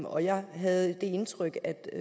og jeg havde det indtryk at der